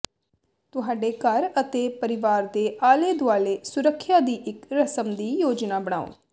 ਤੁਹਾਡੇ ਘਰ ਅਤੇ ਪਰਿਵਾਰ ਦੇ ਆਲੇ ਦੁਆਲੇ ਸੁਰੱਖਿਆ ਦੀ ਇੱਕ ਰਸਮ ਦੀ ਯੋਜਨਾ ਬਣਾਓ